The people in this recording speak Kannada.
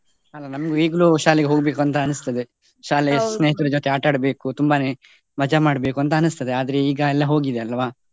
ಅಲ್ಲ ನಮ್ಗೆ ಈಗ್ಲು ಶಾಲೆಗೆ ಹೋಗ್ಬೇಕು ಅಂತ ಅನ್ನಿಸ್ತದೆ, ಜೊತೆ ಆಟದ್ಬೇಕು ತುಂಬಾನೇ ಮಜಾ ಮಾಡ್ಬೇಕು ಅಂತ ಅನಿಸ್ತದೆ ಆದ್ರೆ ಈಗ ಹೋಗಿದೆ ಅಲ್ವಾ.